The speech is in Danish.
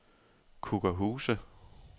Kukkerhuse